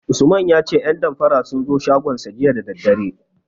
Usman ya ce 'yan damfara sun zo shagonsa jiya da daddare.